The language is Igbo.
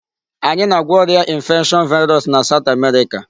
Anyị na-agwọ ọrịa infection virus na South America.